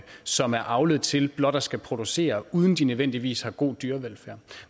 som er avlet til blot at skulle producere uden at de nødvendigvis har god dyrevelfærd